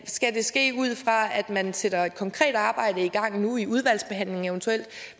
skal det ske ud fra at man sætter et konkret arbejde i gang nu i udvalgsbehandlingen